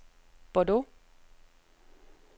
Bordeaux